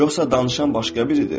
Yoxsa danışan başqa biridir?